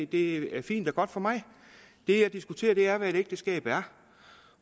det er fint og godt for mig det jeg diskuterer er hvad et ægteskab er